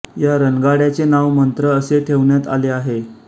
या रणगाड्याचे नाव मंत्रा असे ठेवण्यात आले आहे